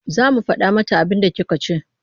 Za mu faɗa mata abinda kika ce.